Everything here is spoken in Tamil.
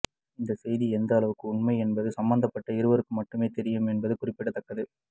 இந்த செய்தி எந்த அளவுக்கு உண்மை என்பது சம்பந்தப்பட்ட இருவருக்கு மட்டுமே தெரியும் என்பது குறிப்பிடத்தக்கது